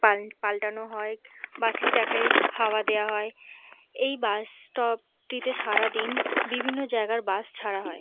পাল পাল্টানো হয় বাস - এর চাকায় হওয়া দেওয়া হয় এই বাস স্টপ - টিতে সারাদিন বিভিন্ন জায়গার বাস ছাড়া হয় ।